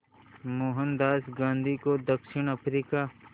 मोहनदास गांधी को दक्षिण अफ्रीका